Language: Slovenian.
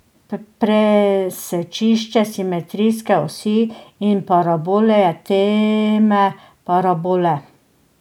Presečišče simetrijske osi in parabole je teme parabole.